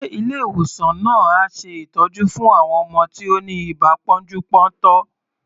Ṣe Ilé ìwòsàn náà ń ṣe ìtọ́jú fún àwọn ọmọ tí ó ni ibà pọ́njú-pọ́ntọ̀?